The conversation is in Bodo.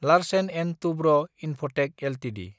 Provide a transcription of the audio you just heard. Larsen & Toubro Infotech Ltd